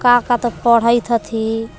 का का तौ पढइत हथि।